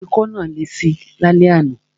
Ikọ́ náà lesi lálẹ́ àná.